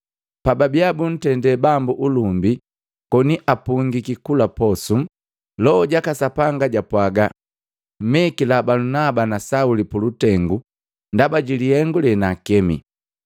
Pababia buntende Bambu ulumbi koni apungiki kula posu, Loho jaka Sapanga japwaga, “Mmekila Balunaba na Sauli pulutengu ndaba jilihengu lenaakemi.”